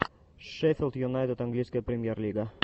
шеффилд юнайтед английская премьер лига